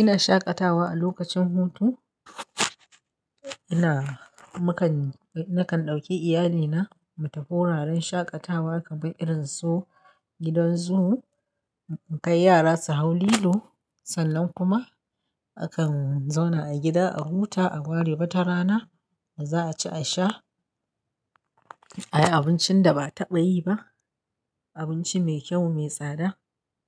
Ina shaƙatawa a lokacin hutu, ina, mukan, nakan ɗauki iyalina mu tafi wuraren shaƙatawa kamar irin su gidan zoo, mu kai yara su hau lilo. Sannan kuma akan zauna a gida a huta a ware wata rana, da za a ci a sha, a yi abincin da ba a taɓa yi ba, abinci mai kyau, mai tsada